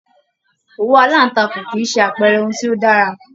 Òwú alantakun kìí ṣe àpẹẹrẹ ohùn tí o dára.